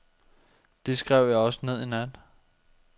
Det skrev jeg også ned i nat.